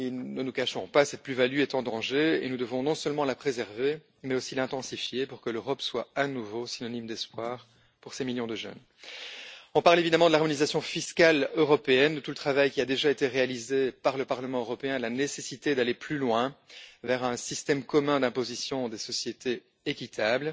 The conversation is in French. Ne nous cachons pas, cette plus value est en danger et nous devons non seulement la préserver, mais aussi l'intensifier pour que l'Europe soit à nouveau synonyme d'espoir pour ces millions de jeunes. On parle évidemment de l'harmonisation fiscale européenne, de tout le travail qui a déjà été réalisé par le Parlement européen et de la nécessité d'aller plus loin, vers un système commun d'imposition des sociétés équitable